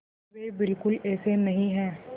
वे बिल्कुल ऐसे नहीं हैं